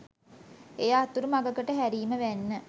එය අතුරු මඟකට හැරීම වැන්න.